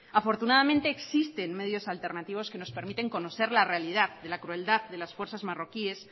afortunadamente existen medios alternativos que nos permiten conocer la realidad de la crueldad de las fuerzas marroquíes